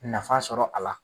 Nafa sɔrɔ a la.